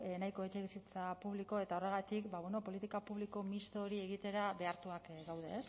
nahiko etxebizitza publiko eta horregatik ba bueno politika publiko misto hori egitera behartuak gaude